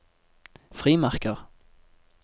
frimerker